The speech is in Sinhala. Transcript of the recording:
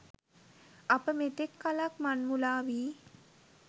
අප මෙතෙක් කළක් මං මුලාවී